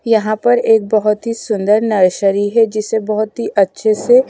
यहां पर एक बहुत ही सुंदर नर्सरी है जिसे बहुत ही अच्छे से--